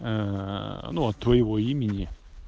ну от твоего имени